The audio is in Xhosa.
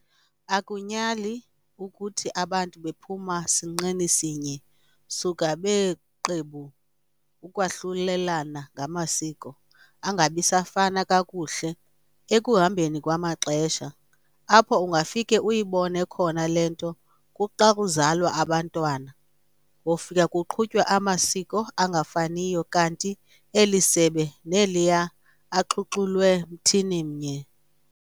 Akunyali ukuthi abantu bephuma sinqeni sinye suka beeqebu ukwahlulelana ngamasiko, angabi safana kakuhle ekuhambeni kwamaxesha. Apho ungafike uyibone khona le nto kuxa kuzalwa abantwana, wofika kuqhutywa amasiko angafaniyo kanti eli sebe neliya axhuxulwe mthini mnye.